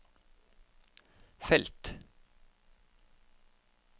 felt